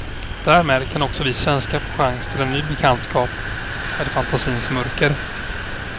Därmed kan också vi svenskar få chans till en ny bekantskap med fantasins mörker.